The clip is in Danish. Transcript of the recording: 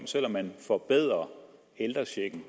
selv om man forbedrer ældrechecken